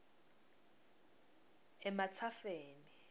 ematsafeni